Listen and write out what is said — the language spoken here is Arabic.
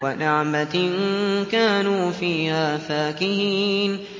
وَنَعْمَةٍ كَانُوا فِيهَا فَاكِهِينَ